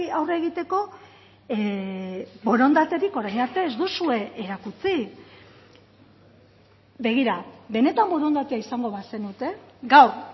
aurre egiteko borondaterik orain arte ez duzue erakutsi begira benetan borondatea izango bazenute gaur